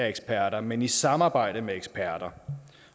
eksperter men i samarbejde med eksperter